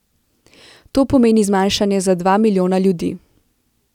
To pomeni zmanjšanje za dva milijona ljudi.